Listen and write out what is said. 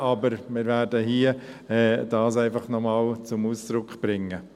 Aber wir werden dies hier einfach noch einmal zum Ausdruck bringen.